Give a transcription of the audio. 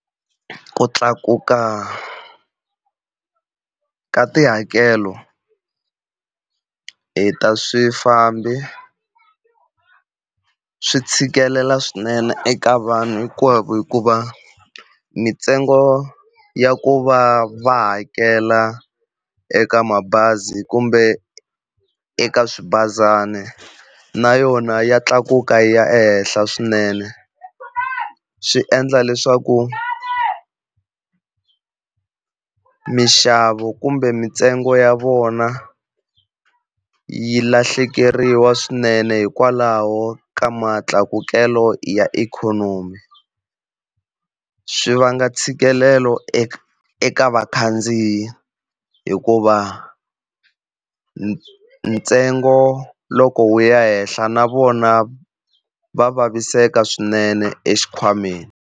Ku tlakuka ka tihakelo hi ta swifambi, swi tshikelela swinene eka vanhu hinkwavo hikuva mintsengo ya ku va va hakela eka mabazi kumbe eka swibazana na yona ya tlakuka yi ya ehenhla swinene. Swi endla leswaku mixavo kumbe mintsengo ya vona yi lahlekeriwa swinene hikwalaho ka matlakukelo ya ikhonomi. Swi vanga ntshikelelo eka eka vakhandziyi hikuva ntsengo loko wu ya henhla na vona va vaviseka swinene exikhwameni.